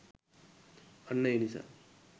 අන්න ඒ නිසා